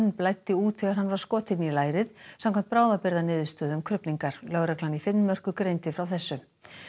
blæddi út þegar hann var skotinn í lærið samkvæmt bráðabirgðaniðurstöðum krufningar lögreglan í Finnmörku greindi frá þessu